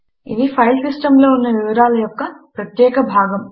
ఇది ఫైల్ సిస్టములో ఉన్న సమాచారము యొక్క ప్రత్యేక భాగం